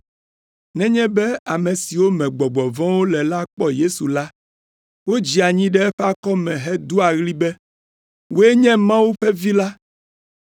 Nenye be ame siwo me gbɔgbɔ vɔ̃wo le la kpɔ Yesu la, wodzea anyi ɖe eƒe akɔme hedoa ɣli be, “Wòe nye Mawu ƒe Vi la,”